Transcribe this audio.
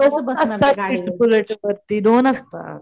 दोन असतात